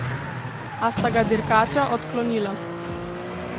A sta ga dirkača odklonila.